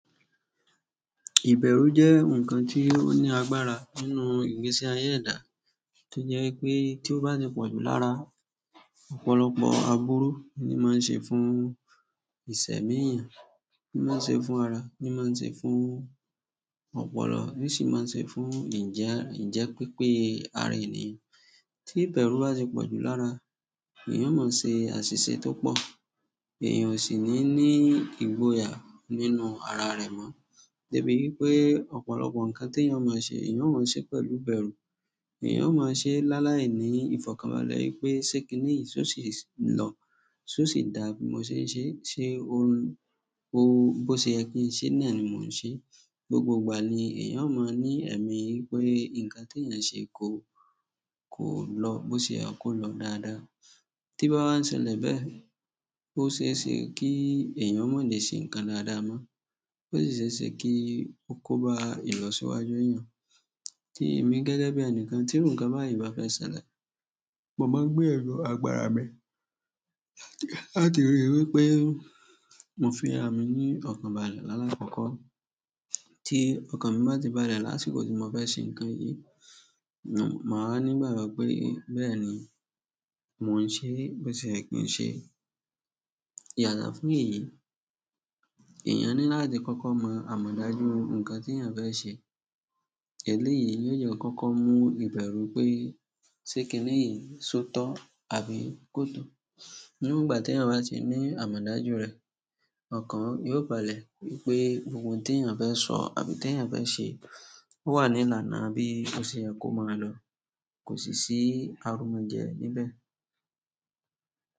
Ìbẹ̀rù jẹ́ ǹkan tí ó ní agbára nínú ìgbésí ayé ẹ̀dá, tí jẹ́ pé tí ó bá ti pọ̀jù lára ọ̀pọ̀lọpọ̀ aburú ni má ń se fún ìsẹ̀mí èèyàn, ní má ń se fún ara, ní má ń ṣe fún ọpọlọ, ní sì má se fún ìjẹ́ pípé ara ènìyàn. Tí ìbẹ̀rù bá ti pọ̀jù lára, èèyàn ó máa ṣe àṣìṣe tó pọ̀, èèyàn ò sì ní ní ìgboyà nínú ara rẹ̀ mọ́. Dé bí pé ọ̀pọ̀lọpọ̀ ǹkan tí èèyàn máa ṣe, èèyàn ó máa ṣe pẹ̀lú ìbẹ̀rù, èèyàn ó máa ṣe láálái ní ìfọ̀kànbalẹ̀ pé ṣé kin níyi ṣó ṣì lọ, ṣó ṣì dá bí mo ṣe ń ṣe, ṣe òun, ó, bó ṣe ẹ kín ṣe ní, náà ní mò ń ṣe. Gbogbo ìgbà ni èèyàn ó máa ní ẹ̀mí wípé ǹkan tí èèyàn ṣe kò, kò lọ bó ṣe à kò lọ dáadáa. Tí bá wá ṣẹlẹ̀ bẹ́ẹ̀, ó ṣe é ṣe kí èèyàn má lè ṣe ǹkan dáadáa mọ́, ó sì ṣe kí ó kó bá ìlọsíwájú èèyàn. Tí èmi gẹ́gẹ́ bí ẹnìkan tí irú ǹkan báyìí bá fẹ́ ṣẹlẹ̀, mo máa ń gbé ẹrù àgbàrá mi láti rí i wípé mo fi ara mi ní ọ̀kàn balẹ̀ láàkọ́kọ́. Tí ọ̀kan mi bá ti balẹ̀ lásìkò tí mo fẹ́ ṣe ǹkan yìí, mo máa ní ìgbàgbọ́ pé bẹ́ẹ̀ ni mò ń ṣe bó ṣe ẹ́ kín ṣe. Yàtọ̀ fún èyí, èèyàn ní láti kọ́kọ́ mọ àmọ̀dájú ǹkan tí èèyàn fẹ́ sẹ. Èléyìí yóò jẹ́ kọ́kọ́ mú ìbẹ̀rù pé ṣé kin níyi so tọ́ àbí kò tọ́. Níwòn ìgbà tí èèyàn bá ti ní àmọ̀dájú rẹ̀, ọkàn yóò balẹ̀ wípé gbogbo ohun ti èèyàn fẹ́ sọ, àbí tí èèyàn fẹ́ se, owá ní ìlànà bí bó se yẹ kí ó máa lọ, kò sì sí arúgunjẹ.